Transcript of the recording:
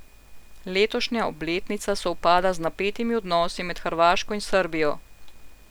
Letošnja obletnica sovpada z napetimi odnosi med Hrvaško in Srbijo.